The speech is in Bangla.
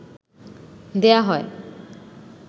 দেয়া হয়